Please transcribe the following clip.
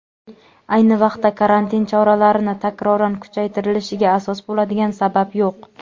ayni vaqtda karantin choralarini takroran kuchaytirilishiga asos bo‘ladigan sabab yo‘q.